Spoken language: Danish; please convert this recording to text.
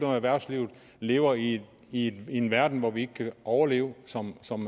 at erhvervslivet lever i i en verden hvor vi ikke kan overleve som som